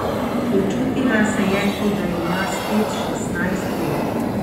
Počutila se je, kot da ima spet šestnajst let.